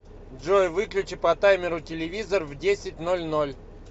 джой выключи по таймеру телевизор в десять ноль ноль